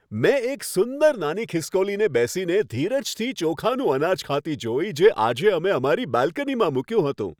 મેં એક સુંદર નાની ખિસકોલીને બેસીને ધીરજથી ચોખાનું અનાજ ખાતી જોઈ, જે આજે અમે અમારી બાલ્કનીમાં મૂક્યું હતું.